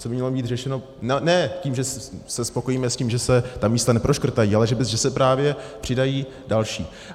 Co by mělo být řešeno ne tím, že se spokojíme s tím, že se ta místa neproškrtají, ale že se právě přidají další.